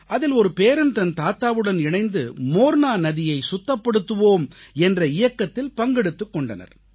அதில் ஒரு பேரன் தன் தாத்தாவுடன் இணைந்து மோர்னா நதியைச் சுத்தப்படுத்துவோம் என்ற இயக்கத்தில் பங்கெடுத்துக் கொண்டனர்